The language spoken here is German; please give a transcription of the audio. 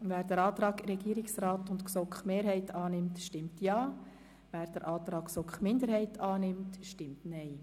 Wer den Antrag Regierungsrat und GSoK-Mehrheit annimmt, stimmt Ja, wer den Antrag GSoK-Minderheit annimmt, stimmt Nein.